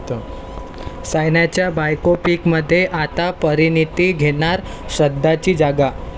सायनाच्या बायोपिकमध्ये आता परिणीती घेणार श्रद्धाची जागा